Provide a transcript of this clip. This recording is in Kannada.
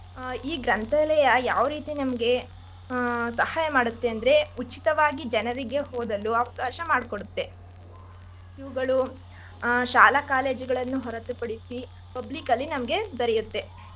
ಈ ಗ್ರಂಥಾಲಯ ಯಾವರೀತಿ ನಮ್ಗೆ ಸಹಾಯ ಮಾಡುತ್ತೆ ಅಂದ್ರೆ ಉಚಿತವಾಗಿ ಜನರಿಗೆ ಓದಲು ಅವಕಾಶಮಾಡ್ಕೊಡುತ್ತೆ ಇವ್ಗಳು ಶಾಲಾ college ಗಳ್ಳನ್ನು ಹೊರತು ಪಡಿಸಿ public ಅಲ್ಲಿ ನಮ್ಗೆ ದೊರೆಯುತ್ತೆ.